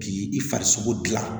K'i farisogo gilan